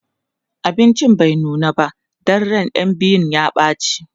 abincin bai nuna ba Dan ran ƴan biyun ya ɓace